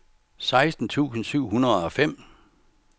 seksten tusind syv hundrede og fem